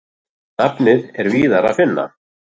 Nafnið er víðar að finna.